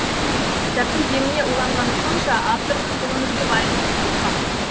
кітаптың деміне уланғаным сонша авторының бұл өмірде бар екенін ұмытқам